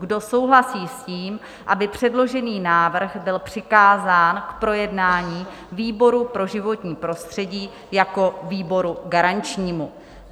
Kdo souhlasí s tím, aby předložený návrh byl přikázán k projednání výboru pro životní prostředí jako výboru garančnímu?